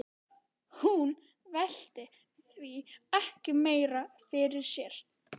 Hún velti því ekki meira fyrir sér.